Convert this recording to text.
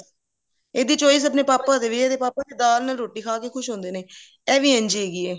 ਇਹਦੇ ਚੋ ਇਹ ਇਹਦੇ ਪਾਪਾ ਦੇ ਵੀ ਇਹਦੇ ਪਾਪਾ ਨੇ ਦਾਲ ਨਾਲ ਰੋਟੀ ਖਾ ਕੇ ਖ਼ੁਸ਼ ਹੁੰਦੇ ਨੇ ਇਹ ਵੀ ਇੰਝ ਹੈਗੀ ਐ